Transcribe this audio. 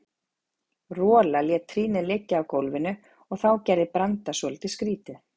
Rola lét trýnið liggja á gólfinu og þá gerði Branda svolítið skrýtið.